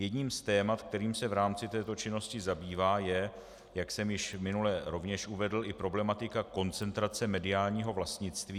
Jedním z témat, kterým se v rámci této činnosti zabývá, je, jak jsem již minule rovněž uvedl, i problematika koncentrace mediálního vlastnictví.